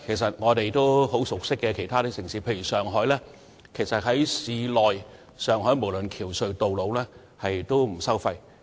在我們很熟悉的其他城市，例如上海，市內的橋隧道路全部不收費。